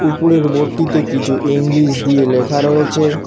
উপরের বোর্ডটিতে কিছু ইংলিশ দিয়ে লেখা রয়েছে।